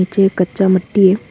के कच्चा मिट्टी है।